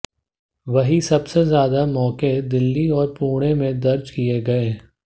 वहीं सबसे ज्यादा मौके दिल्ली और पुणें में दर्ज किए गए